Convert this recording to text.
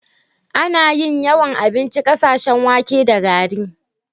Ana yin yawan abincin ƙasashen wake da gari.